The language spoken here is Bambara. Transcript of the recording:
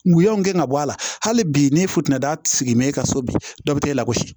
Wuyaw gɛn ka bɔ a la hali bi ne futɛni y'a sigi mɛ e ka so bi dɔ bɛ taa e lagosi